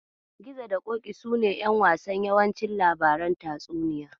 Gizo da Ƙoƙi sune ƴan wasan yawancin labarin tatsuniya.